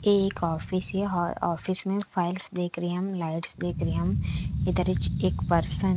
ये एक ऑफिस है और ऑफिस में फाइल्स देख रहे है हम लाइट्स देख रहे है हम। --